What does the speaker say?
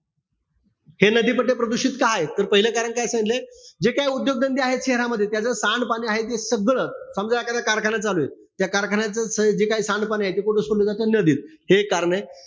हे नदी पट्टे प्रदूषित का आहेत? तर पाहिलं कारण काय सांगितलय? जे काय उद्योग-धंदे आहेत शहरामध्ये, त्याच सांडपाणी आहे ते सगळं, समजा एखादा कारखाना चालूय. त्या कारखान्याच जे काही सांडपाणी आहे ते कुठं सोडलं जात? नदीत. हे कारणं ए.